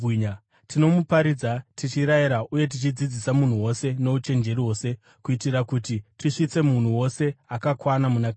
Tinomuparidza, tichirayira uye tichidzidzisa munhu wose nouchenjeri hwose, kuitira kuti tisvitse munhu wose akakwana muna Kristu.